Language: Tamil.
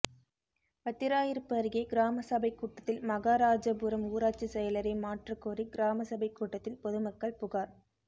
வத்திராயிருப்பு அருகே கிராம சபைக் கூட்டத்தில் மகராஜபுரம் ஊராட்சிச் செயலரை மாற்றக்கோரி கிராம சபைக் கூட்டத்தில் பொதுமக்கள் புகாா்